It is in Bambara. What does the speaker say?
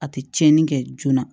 A tɛ tiɲɛni kɛ joona